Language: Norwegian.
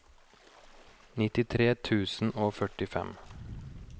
nittitre tusen og førtifem